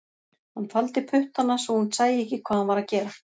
Hann faldi puttana svo hún sæi ekki hvað hann var að gera